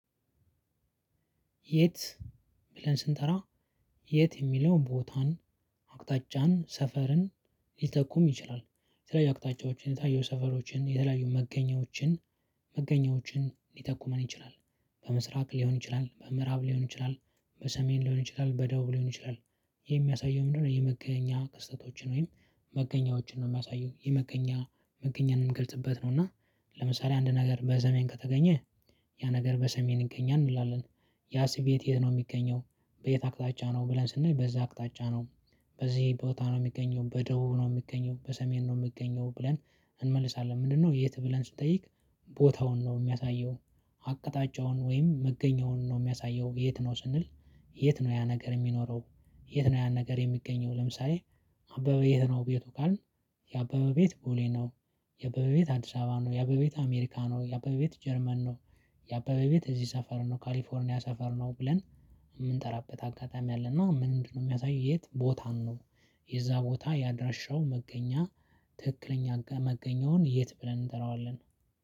የት ብለን ስንጠራ የት የሚለውን ቦታን አቅጣጫን ሰፈርን ሊተኩም ይችላል የተለያዩ አቅጣጫዎችን የተለያዩ ሰፈሮችን የተለያዩ መገኛዎችን መገኛወችን ሊተቁመን ይችላል። በምስራቅ ሊሆን ይችላል በምዕራብ ሊሆን ይችላል በሰሜን ሊሆን ይችላል በደቡብ ሊሆን ይችላል። የሚያሳየው ምንድነው? የመገኛ ክስተቶችን ወይም መገኛዎችን ነው የሚያሳየው የመገኛ መገኛ እምንገልጽበት ነው። እና ለምሳሌ አንድ ነገር በሰሜን ከተገኘ ያ ነገር በሰሜን ይገኛል እንላለን። ያ ስቤት የት ነው የሚገኘው? በየት አቅጣጫ ነው ብለን ስናይ በዛ አቅጣጫ ነው። በዚህ ቦታ ነው የሚገኘው በደቡብ ነው የሚገኘው በሰሜን ነው የሚገኘው ብለን እንመልሳለን። ምንድነው? የት ብለን ስንጠይቅ ቦታውን ነው የሚያሳየው። አቅጣጫውን ወይም መገኛውን ነው የሚያሳየው። የት ነው ስንል የት ነው ያ ነገር የሚኖረው የት ነው ያን ነገር የሚገኘው። ለምሳሌ አበበ የት ነው ቤቱ ካልን የአበበ ቤት ቦሌ ነው። የአበበ ቤት አዲስ አበባ ነው የአበበ ቤት አሜሪካ ነው የአበበ ቤት ጀርመን ነው። የአበበ ቤት እዚህ ሰፈር ነው ካሊፎርኒያ ሰፈር ነው ብለን የምንጠራበት አጋጣሚ አለና ምንድነው የሚያሳይ የት ቦታ ነው። የዛ ቦታ ያደረሻው መገኛ ትክክለኛ መገኛውን የት ብለን እንጠራዋለን